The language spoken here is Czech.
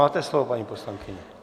Máte slovo, paní poslankyně.